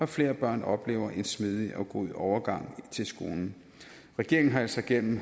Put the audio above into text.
flere børn oplever en smidig og god overgang til skolen regeringen har altså gennem